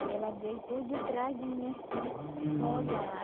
Aí ela veio por de trás de mim assim para olhar.